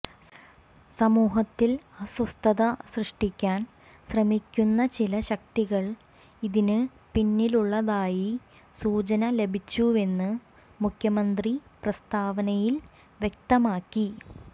സമൂഹത്തിൽ അസ്വസ്ഥത സൃഷ്ടിക്കാൻ ശ്രമിക്കുന്ന ചില ശക്തികൾ ഇതിന് പിന്നിലുള്ളതായി സൂചന ലഭിച്ചുവെന്ന് മുഖ്യമന്ത്രി പ്രസ്താവനയിൽ വ്യക്തമാക്കി